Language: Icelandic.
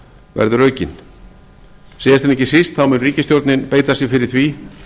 verður aukinn síðast en ekki síst þá mun ríkisstjórnin beita sér fyrir því